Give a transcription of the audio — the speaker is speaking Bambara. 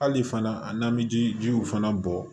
Hali fana an bɛ ji jiw fana bɔ